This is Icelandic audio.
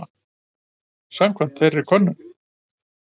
Samkvæmt þeirri könnun